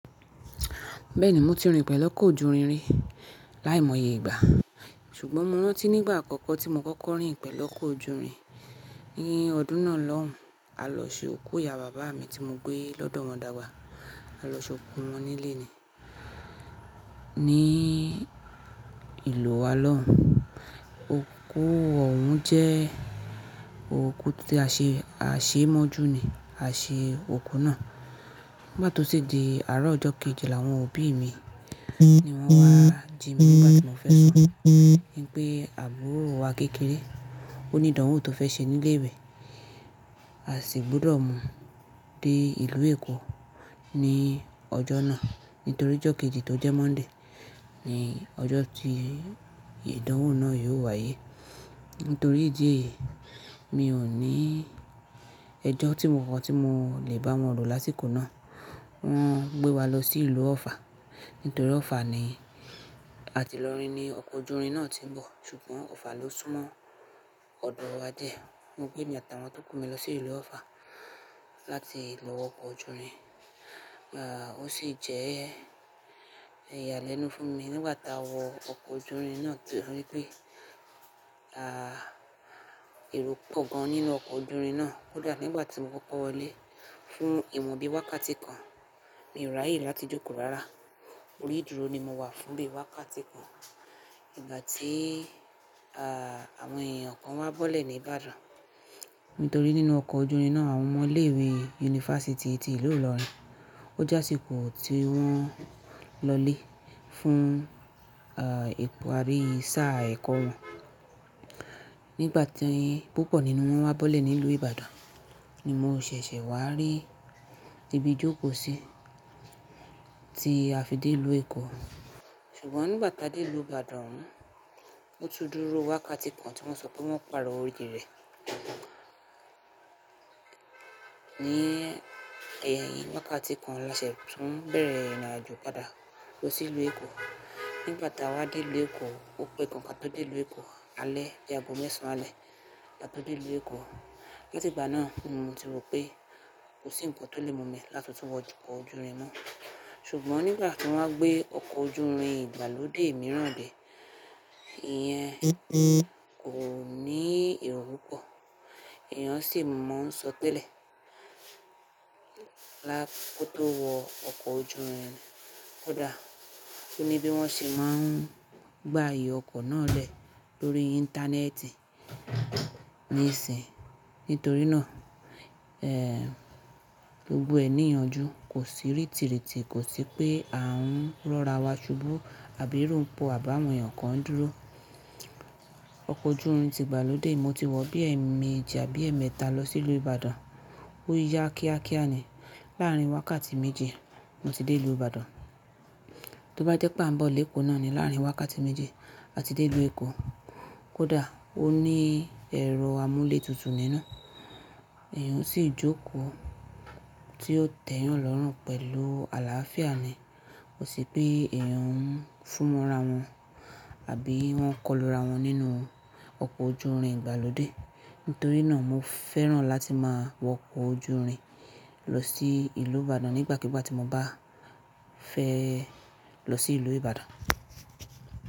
Bẹ́ẹ̀ni mo ti rin pè lọ́kọ̀ ojúrin rí, láìmọye ìgbà. Ṣùgbọ́n mo rántí nígbà àkọ́kọ́ tí mo kọ́kọ́ rin pèlọ́kọ̀ ojúrin, ní ọdún náà lọ́hùn, a lọ ṣe òkú ìyá bàbá mi tí mo gbé lọ́dọ̀ wọn dàgbà. A lọ ṣe òkú wọn nílé ni, ní ìlú wa lọ́hùn. Òkú òun jẹ́ òkú tí a ṣe, a ṣe mọ́jú ni a ṣe òkú náà. Nigbàtí to sì di àárọ̀ ọjọ́ kejì là àwọn òbí mi ni wọ́n wá jí mi nígbàtí mo fẹ́ sùn. Wipé àbúrò wa kékeré ó ní ìdánwò tó fẹ́ ṣe nílé ìwẹ̀. A sì gbúdọ̀ mú dé ìlú Èkó ní ọjọ́ náà nítorí ọjọ́ kejì tó jẹ́ Monday ni ọjọ́ tí ìdánwò náà yóò wáyé. Nítorí ìdí èyí mi ò ní ẹjọ́ tí mo mọ̀ tí mo lè bá wọn rò lásikona Wọn gbé wa lọ sí ìlú ọ̀ffà nítorí ọ̀ffà ni ati ilọrín ní ọkọ̀ ojúrin náà tí ń bọ̀ ṣùgbọ́n ọ̀ffà ló súnmọ́ ọ̀dọ̀ wa díẹ̀. Mo gbé mi atí àwọn tó kù mi lọ sí ìlú ọ̀ffà láti lọ wo ọkọ̀ ojúrin. Ah o sì jẹ́ iyà lẹ́nu fún mi nígbà tí a wọ ọkọ̀ ojúrin náà nítorí pé ah èrò pọ̀ gan nínu ọkọ̀ ojúrin náà. Kódà nígbà tí mo kọ́kọ́ wọlé fún ìmú bí wákàtí kan, mi ò ràyè láti jókòó rárá. Orí ìdúró ni mo wà fún bí i wákàtí kan nígbà tí ah àwọn èèyàn kan wá bọ́lẹ̀ ní Ìbàdàn. Nítorí nínú ọkọ̀ ojúrin náà àwọn ọmọ ilé ìwé yunifásítì tí ìlú ilorin. Ó jásíkú tí wọ́n lọlé fún ah èkó abí sáà ẹ̀kọ́ wọn. Nigbati púpọ̀ nínú wọn wá bọ́lẹ̀ nílùú Ìbàdàn ni mo ṣẹ̀ṣẹ̀ wá rí ibi jókòó sí tí a fi dé ìlú Èkó. Ṣùgbọ́n nígbà tí a dé ìlú Ìbàdàn, o tún dúró wákàtí kan tí wọ́n sọ pé wọ́n ó pàrọ̀ oilí rẹ̀. Ní ẹ̀yìn wákàtí kan laṣẹ tún bẹ̀rẹ̀ ìrìnàjò padà lọ sí ìlú Èkó. Nigbà tí a wá dé ìlú Èkó, opegan ka to dé ìlú Èkó alẹ́, bi àgbo mẹ́sàn-án alẹ́ la tó dé ìlú Èkó. Látìgbà náà ni mo ti rò pé kò sí ǹkan tó lè mú mi láti tún wọ ọkọ̀ ojúrin máà. Ṣùgbọ́n nígbà tí wọ́n wá gbé ọkọ̀ ojúrin ìgbàlódé mìíràn dé, ìyẹn kò ní èrò pọ̀, èèyàn sì mọ̀ ń sọ telè lá kóto wọ ọkọ̀ ojúrin. Kódà oni bí wọ́n ṣe máa ń gba ayè ọkọ̀ náà lẹ̀ lórí íńtánẹ́ẹ̀tì ní ìsìn. Nítorí náà, eh gbogbo ẹ nìyanjú kò sì rìtìrìtì, kò sì pé à ń rọ́ra wa ṣubú àbí ero pọ àbá won èèyàn kan ń dúró. Ọkọ̀ ojúrin ti ìgbàlódé mo ti wọ̀ bí i ẹ́ẹ̀mẹjì àbí ẹ́ẹ̀mẹta lọ sí ìlú Ìbàdàn. Ó yá kíákíá ni. Láàárín wákàtí méjì mo ti dé ìlú Ìbàdàn. Tó bá jẹ́ pé a ń bọ̀ lé Èkó náà ni láàárín wákàtí méjì a ti dé ìlú Èkó. Kódà ó ní ẹ̀rọ amúlé tutù nínú. Ẹ̀èyàn o sì jókòó tí ó tẹ̀ yán lọ́rùn pẹ̀lú àlàáfíà ni. Kò sì pé èèyàn ń fún mọ́ra wọn àbí wọ́n ń kọ́lura wọn nínú ọkọ̀ ojúrin ìgbàlódé. Nítorí náà mo fẹ́ràn láti máa wọ ọkọ̀ ojúrin lọ sí ìlú Ìbàdàn nígbàkigbà tí mo bá fẹ́ lọ sí ìlú Ìbàdàn.